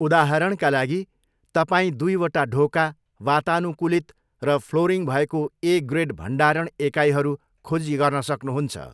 उदाहरणका लागि, तपाईँ दुईवटा ढोका, वातानुकूलित, र फ्लोरिङ भएको 'ए ग्रेड' भण्डारण एकाइहरू खोजी गर्न सक्नुहुन्छ।